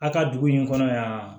A ka dugu in kɔnɔ yan